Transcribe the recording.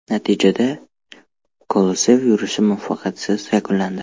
Natijada, Kolesov yurishi muvaffaqiyatsiz yakunlandi.